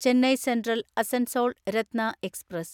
Chennai central Asansol Ratna express